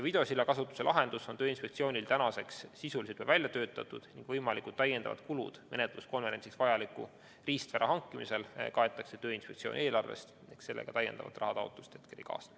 Videosilla kasutuse lahendus on Tööinspektsioonil tänaseks sisuliselt välja töötatud ning võimalikud täiendavad kulud menetluskonverentsiks vajaliku riistvara hankimisel kaetakse Tööinspektsiooni eelarvest ehk sellega täiendavat rahataotlust hetkel ei kaasne.